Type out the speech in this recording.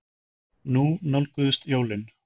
Nú nálguðust jólin.